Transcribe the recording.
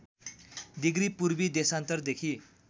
degree पूर्वी देशान्तरदेखि